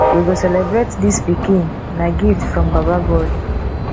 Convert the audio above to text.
we go celebrate dis pikin na gift from baba god